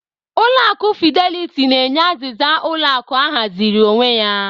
Ulọ akụ Fidelity na-enye azịza ụlọ akụ ahaziri onwe ya.